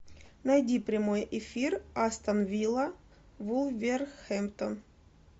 найди прямой эфир астон вилла вулверхэмптон